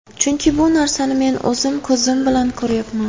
Chunki bu narsani men o‘zim ko‘zim bilan ko‘ryapman.